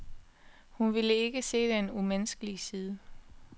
Hun ville ikke se den umenneskelige side.